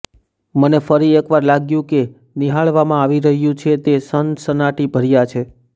મને ફરી એક વાર લાગ્યું કે નિહાળવામાં આવી રહ્યું છે તે સનસનાટીભર્યા છે